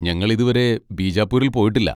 ഞങ്ങൾ ഇതുവരെ ബീജാപ്പൂരിൽ പോയിട്ടില്ല.